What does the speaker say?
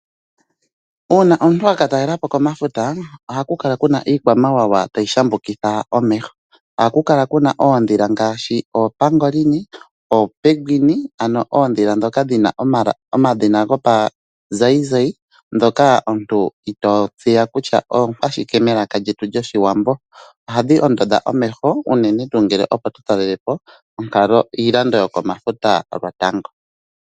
Uuna omuntu aka talelapo komafuta oha ku kala kuna iikwamawawa tayi shambukitha omeho. Oha ku kala kuna oodhila ngaashi oopangolini, oopeguine, ano oodhila dhoka dhina omadhina gopazayizayi, dhoka omuntu ito tseya kutya oonkwashike melaka lyetu lyoshiwambo ,ohadhi ondodha omeho unene tuu ngele opo totalelepo iilando yoko mafuta lotango.